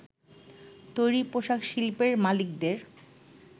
তৈরি পোশাক শিল্পের মালিকদের